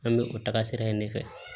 An bɛ o taga sira in de fɛ